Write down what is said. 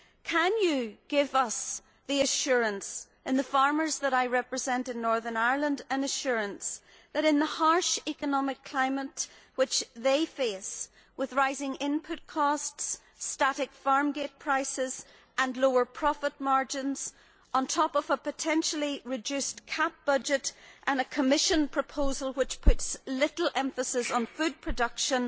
Can you give us and the farmers that I represent in Northern Ireland an assurance that, in the harsh economic climate which they face with rising input costs, static farm gate prices and lower profit margins on top of a potentially reduced CAP budget and a Commission proposal which puts little emphasise on food production